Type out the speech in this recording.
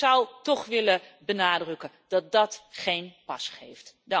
Ik zou toch willen benadrukken dat dat geen pas geeft.